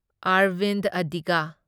Arvind ꯑꯗꯤꯒ